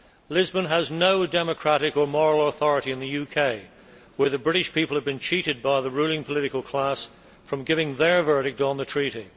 Lisbon has no democratic or moral authority in the UK, where the British people have been cheated by the ruling political class from giving their verdict on the treaty.